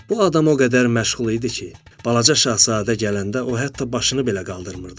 Bu adam o qədər məşğul idi ki, Balaca şahzadə gələndə o hətta başını belə qaldırmırdı.